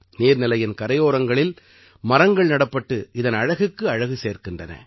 நீர்நிலையின் கரையோரங்களில் மரங்கள் நடப்பட்டு இதன் அழகுக்கு அழகு சேர்க்கின்றன